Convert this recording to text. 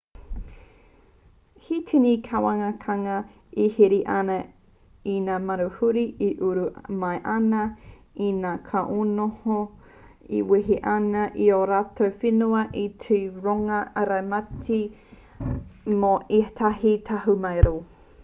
he tini ngā kāwanatanga e here ana i ngā manuhiri e uru mai ana i ngā kainoho e wehe ana i ō rātou whenua te whai rongoā ārai mate mō ētahi tahumaero